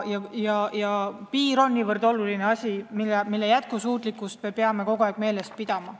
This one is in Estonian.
Piir on niivõrd oluline asi, selle jätkusuutlikkust me peame meeles pidama.